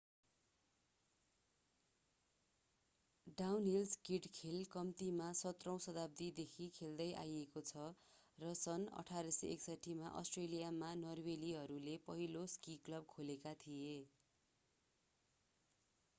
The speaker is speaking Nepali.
डाउनहिल स्कीइङ खेल कम्तीमा 17औं शताब्दीदेखि खेलिदै आइएको छ र सन् 1861 मा अष्ट्रेलियामा नर्वेलीहरूले पहिलो स्की क्लब खोलेका थिए